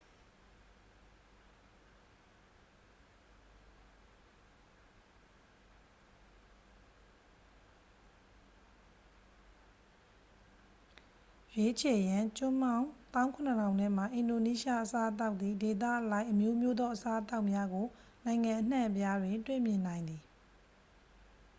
ရွေးချယ်ရန် ကျွန်းပေါင်း 17,000 ထဲမှ အင်ဒိုနီးရှား အစားအသောက်သည် ဒေသအလိုက်အမျိုးမျိုးသော အစားအသောက်များကို နိုင်ငံအနှံအပြားတွင် တွေ့မြင်နိုင်သည်